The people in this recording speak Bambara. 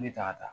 Ne tagara